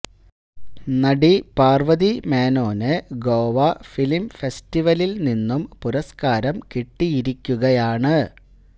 നടി പാര്വതി മേനോന് ഗോവ ഫിലിം ഫെസ്റ്റിവലില് നിന്നും പുരസ്കാരം കിട്ടിയിരിക്കുകയാണ്